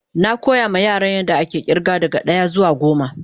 Na koya ma Yaran yan da ake irga daga daya zuwa goma.